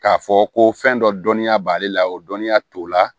K'a fɔ ko fɛn dɔ dɔnya b'ale la o dɔnniya t'o la